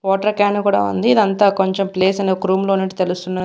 Water can కూడా ఉంది ఇదంతా కొంచెం ప్లేస్ అనేది ఒక రూమ్ లో ఉన్నట్టు తెలుస్తున్నది.